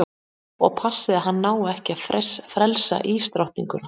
Og passið að hann nái ekki að frelsa ísdrottninguna.